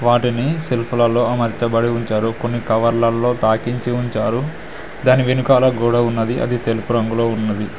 వాటిని సెల్ఫ్ లలో అమర్చబడి ఉంచారు కొన్ని కవర్లలో తాకించి ఉంచారు దాని వెనుకాల గొడ ఉన్నది అది తెలుపు రంగులో ఉన్నది.